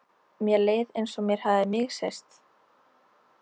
Mér leið einsog mér hefði misheyrst.